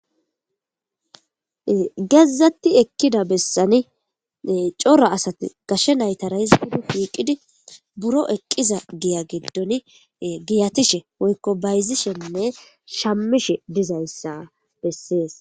gezatti ekkida bessani cora asati gashe naytara hizgudi shiiqidi buro eqqiza giya geddoni giyatishe woykko bayzishenne shammishe dizayssa bessees